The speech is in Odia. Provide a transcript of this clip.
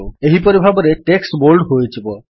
ଏହିପରି ଭାବରେ ଟେକ୍ସଟ୍ ବୋଲ୍ଡ ହୋଇଯିବ